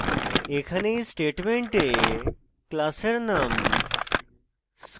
এখানে we statement class এর name